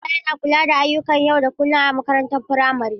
Hedimasta yana kula da ayyukan yau da kullun a makarantar firamare.